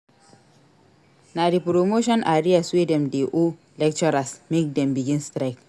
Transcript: Na di promotion arrears wey dem dey owe lecturers make dem begin strike.